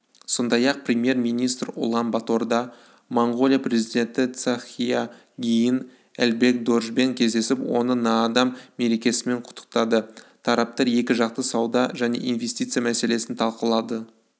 сондай-ақ премьер-министр ұлан-баторда моңғолия президенті цахиа-гийн элбэг-доржбен кездесіп оны наадам мерекесімен құттықтады тараптар екіжақты сауда және инвестиция мәселесін талқылады